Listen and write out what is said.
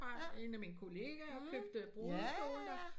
Der fra en af mine kolleager købte brudekjole der